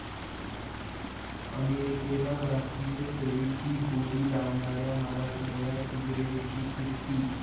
अमेरिकेला भारतीय चवीची गोडी लावणाऱ्या मराठमोळ्या सुगरणीची 'कीर्ती'